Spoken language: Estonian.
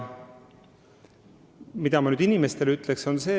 Mida ma inimestele ütleksin?